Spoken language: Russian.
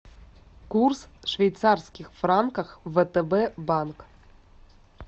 курс швейцарских франков втб банк